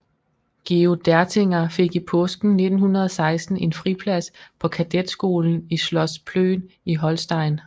Georg Dertinger fik i påsken 1916 en friplads på kadetskolen i Schloss Plön i Holstein